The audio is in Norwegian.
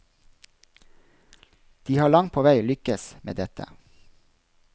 De har langt på vei lykkes med dette.